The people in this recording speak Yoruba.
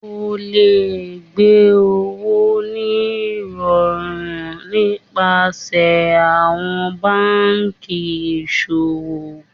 O lè gbé owó ní ìrọrùn nípasẹ̀ àwọn banki ìṣòwò.